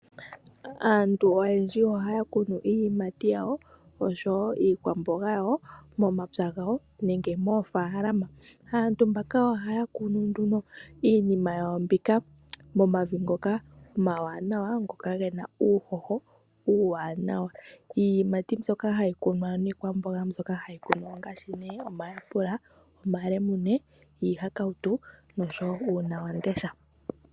Aantu oyendji ohaya kunu iiyimati yawo, osho woo iikwamboga yawo momapya gawo nenge moofaalama. Aantu mbaka ohaya kunu nduno iinima yawo mbika momavi ngoka omawanawa, ngoka gena uuhoho uuwanawa. Iiyimati mbyoka hayi kunwa niikwamboga mbyoka hayi kunwa ongaashi nee omayapula, omalemune ,iihakautu nosho woo uuna wam'ndesha.